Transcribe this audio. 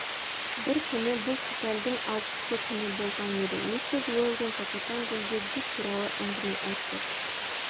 бір күні бұл февральдың алтысы күні болған еді миссис уэлдон капитан гульге дик туралы әңгіме айтты